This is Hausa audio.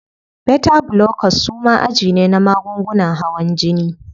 Beta blockers suma aji ne na magungunan hawan jini.